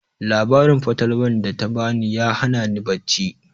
Labarin fatalwan da ta ba ni ya hana ni bacci